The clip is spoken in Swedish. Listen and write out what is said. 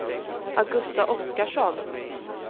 Augusta Oskarsson